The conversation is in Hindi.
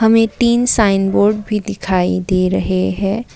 हमें तीन साइन बोर्ड भी दिखाई दे रहे है।